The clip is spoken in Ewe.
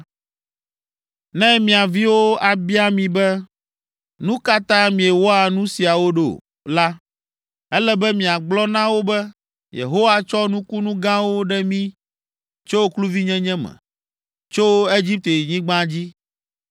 “Ne mia viwo abia mi be, ‘Nu ka ta miewɔa nu siawo ɖo?’ la, ele be miagblɔ na wo be, ‘Yehowa tsɔ nukunu gãwo ɖe mí tso kluvinyenye me, tso Egiptenyigba dzi.